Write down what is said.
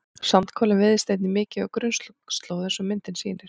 sandkolinn veiðist einnig mikið á grunnslóð eins og myndin sýnir